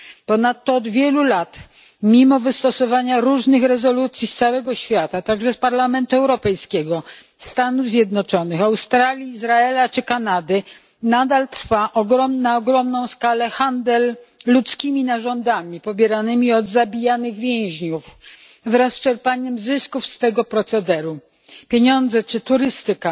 Ponadto od wielu lat, mimo wystosowania różnych rezolucji z całego świata, także z Parlamentu Europejskiego, Stanów Zjednoczonych, Australii, Izraela czy Kanady, nadal trwa na ogromną skalę handel ludzkimi narządami pobieranymi od zabijanych więźniów wraz z czerpaniem zysków z tego procederu. Pieniądze czy turystyka